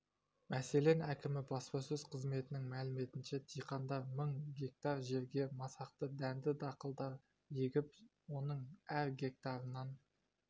мәселен әкімі баспасөз қызметінің мәліметінше диқандар мың га жерге масақты дәнді дақылдар егіп оның әр гектарынан